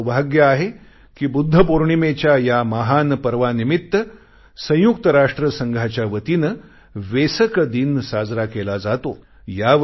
माझे सौभाग्य आहे कि बुद्ध पौर्णिमेच्या या महान पर्वानिमित्त संयुक्त राष्ट्रसंघाच्या वतीने वेसक दिन साजरा केला जातो